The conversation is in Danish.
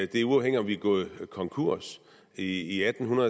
det er uafhængigt af om vi er gået konkurs i atten